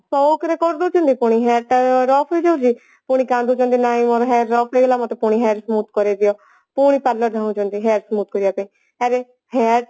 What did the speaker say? ସଉକ ରେ କରିଦେଉଛନ୍ତି ପୁଣି hair ତ rough ହେଇଯାଉଛି ପୁଣି କାନ୍ଦି କାନ୍ଦି ନାଇଁ ମୋର hair rough ହେଇଗଲା ମତେ ପୁଣି hair smooth କରେଇଦିଅ ପୁଣି parlor ଯାଉଛନ୍ତି hair smooth କରିବାପାଇଁ ଆରେ hair